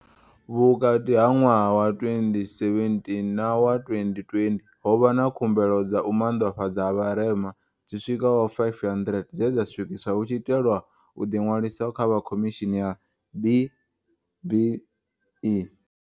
Vhukati ha ṅwaha wa 2017 na wa 2020, ho vha na khu mbelo dza u maanḓafhadzwa ha vharema dzi swikaho 500 dze dza swikiswa hu tshi itelwa u ḓiṅwalisa kha vha Khomishini ya B-BBEE.